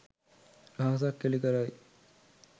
රහසක් එලි කරයි